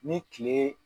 Ni tile